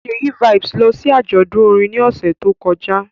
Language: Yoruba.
Ṣèyí Vibez lọ sí àjọ̀dún orin ní ọ̀sẹ̀ tó kọjá